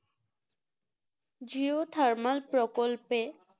geothermal প্রকল্পে